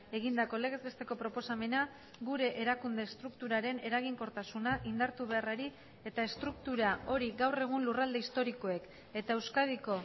egindako legez besteko proposamena gure erakunde estrukturaren eraginkortasuna indartu beharrari eta estruktura hori gaur egun lurralde historikoek eta euskadiko